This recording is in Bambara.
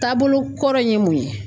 Taabolo kɔrɔ in ye mun ye